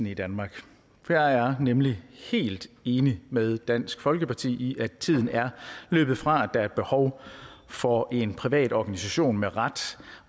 i danmark for jeg er nemlig helt enig med dansk folkeparti i at tiden er løbet fra at der er behov for en privat organisation med ret